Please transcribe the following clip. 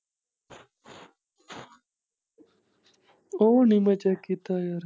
ਉਹ ਨੀ ਮੈਂ ਚੈੱਕ ਕੀਤਾ।